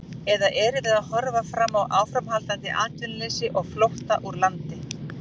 Eða erum við að horfa fram á áframhaldandi atvinnuleysi og flótta úr landi?